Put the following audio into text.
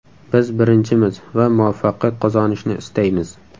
Biz birinchimiz va muvaffaqiyat qozonishni istaymiz.